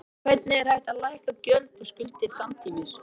En hvernig er hægt að lækka gjöld og skuldir samtímis?